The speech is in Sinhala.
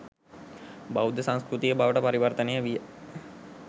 බෞද්ධ සංස්කෘතිය බවට පරිවර්තනය විය.